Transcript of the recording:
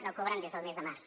no cobren des del mes de març